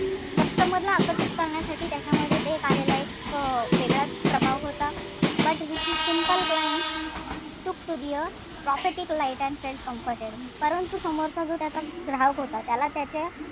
Customer ला आकर्षित करण्यासाठी त्याच्यामध्ये ते एक आलेला एक वेगळाच प्रभाव होता. But which is simple clients took to a profitic light and felt comforted परंतु समोरचा जो त्याचा ग्राहक होता त्याला त्याचे,